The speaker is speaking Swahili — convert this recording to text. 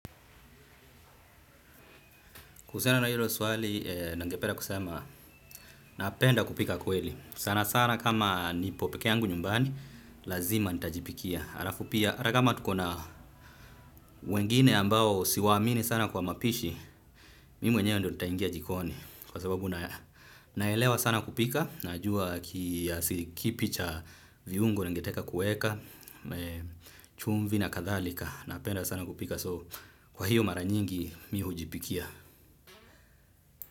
Kuhusiana na hilo swali, ninge penda kusema, napenda kupika kweli. Sana sana kama nipo peke yangu nyumbani, lazima nitajipikia. Alafu pia, hata kama tuko na wengine ambao siwa amini sana kwa mapishi, mimi mwenyewe ndio nitaingia jikoni. Kwa sababu naelewa sana kupika, najua kiasi kipi cha viungo ningetaka kuweka, chumvi na kadhalika, napenda sana kupika. So, kwa hiyo mara nyingi, mimi hujipikia.